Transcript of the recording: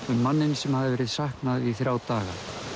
um mannninn sem hafði verið saknað í þrjá daga